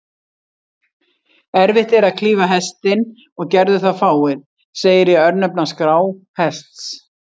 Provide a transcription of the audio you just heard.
Erfitt er að klífa Hestinn, og gerðu það fáir, segir í örnefnaskrá Hests.